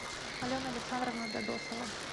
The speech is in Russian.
алена александровна дадосова